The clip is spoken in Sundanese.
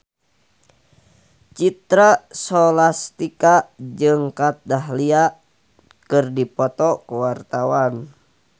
Citra Scholastika jeung Kat Dahlia keur dipoto ku wartawan